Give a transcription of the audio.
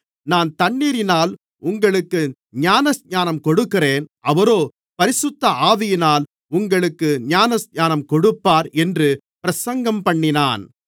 நான் தண்ணீரினால் உங்களுக்கு ஞானஸ்நானம் கொடுக்கிறேன் அவரோ பரிசுத்த ஆவியினால் உங்களுக்கு ஞானஸ்நானம் கொடுப்பார் என்று பிரசங்கம்பண்ணினான்